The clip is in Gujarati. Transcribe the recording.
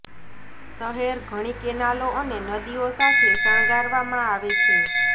શહેર ઘણી કેનાલો અને નદીઓ સાથે શણગારવામાં આવે છે